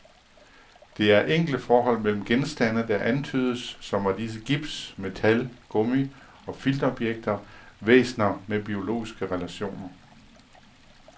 Det er enkle forhold mellem genstande, der antydes, som var disse gips, metal, gummi og filtobjekter, væsener med biologiske relationer.